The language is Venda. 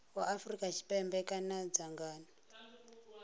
wa afrika tshipembe kana dzangano